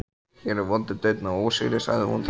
Hér er vondur daunn af ósigri, sagði hún þá.